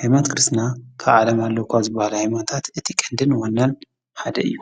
ኃይማኖት ክርስትና ካዓለም ኣለዉኳ ዝበሃል ኣይሞታት እቲ ቐንድን ወናል ሓደ እዩ